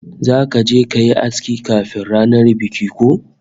Zaka je kayi aski kafin ranar bikin ko?